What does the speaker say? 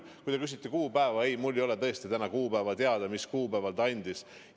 Kui te küsite kuupäeva, siis ma täna tõesti ei tea, mis kuupäeval ta infot andis.